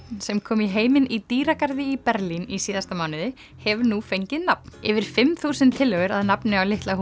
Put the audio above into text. sem kom í heiminn í dýragarði í Berlín í síðasta mánuði hefur nú fengið nafn yfir fimm þúsund tillögur að nafni á litla